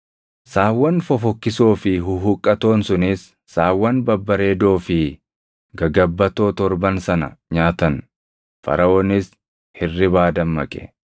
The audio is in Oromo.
Saawwan fofokkisoo fi huhuqqatoon sunis saawwan babbareedoo fi gagabbatoo torban sana nyaatan. Faraʼoonis hirribaa dammaqe.